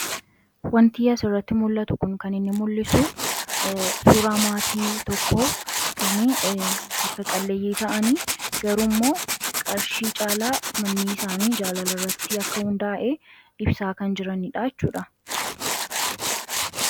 Wanti as irratti mul'atuu kun kan inni mul'isuu suuraa matii tokko kan harka qaleyii ta'ani garuu moo qarshii caalaaa mani isaani jaalala irratti akka hunda'ee ibsa kan jiraanidha jechuudha.